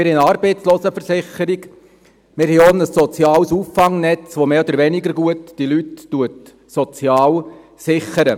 Wir haben eine Arbeitslosenversicherung, und wir haben auch ein soziales Auffangnetz, welches diese Leute mehr oder weniger gut sozial sichert.